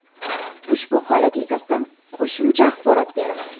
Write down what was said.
Ushbu holat yuzasidan qo‘shicha axborot berildi.